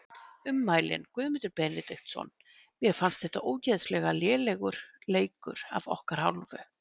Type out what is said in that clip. Ummælin: Guðmundur Benediktsson Mér fannst þetta ógeðslega lélegur leikur af okkar hálfu.